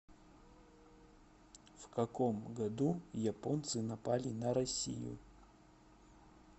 в каком году японцы напали на россию